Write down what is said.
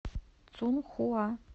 цунхуа